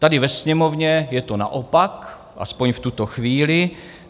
Tady ve Sněmovně je to naopak, aspoň v tuto chvíli.